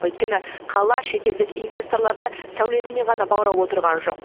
өйткені қала шетелдік инвесторларды сәулетімен ғана баурап отырған жоқ